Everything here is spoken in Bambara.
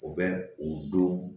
U bɛ u don